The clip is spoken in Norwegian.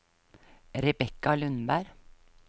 Rebecca Lundberg